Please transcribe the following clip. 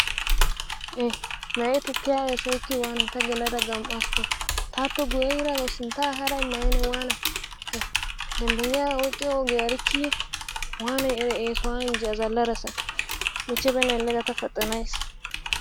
E, Na'ee tukkiya eessoykki waanay ta geladda gam'askko, taappe guyye yiiragaw sintta ehaada immayiyye na'ee ne waanay? He dembbenyigna oyqqiyo ogiyaa erikkiye? Waanay eraa eessoya injjii azzalassa, michche banati elle ga ta paxanays.